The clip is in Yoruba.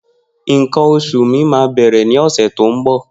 Nkan osu mi ma bere ni ose to nbo.